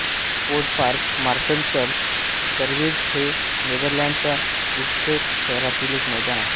Sportpark Marschalkerweerd हे नेदरलँड्सच्या Utrecht शहरातील एक मैदान आहे